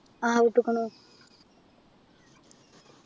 ആഹ് വിട്ട്കുണു